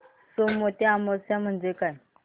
सोमवती अमावस्या म्हणजे काय